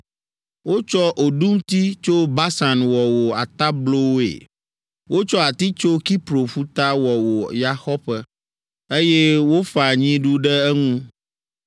Wotsɔ oɖumti tso Basan wɔ wò atablowoe, wotsɔ ati tso Kipro ƒuta wɔ wò yaxɔƒe, eye wofa nyiɖu ɖe eŋu.